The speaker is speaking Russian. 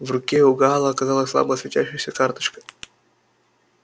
в руке у гаала оказалась слабо светящаяся карточка